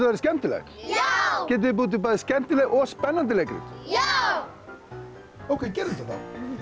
verði skemmtilegt já getið þið búið til bæði skemmtileg og spennandi leikrit já ókei gerum þetta þá